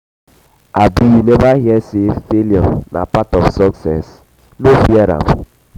abi you neva hear sey failure um na part of um success? no fear am.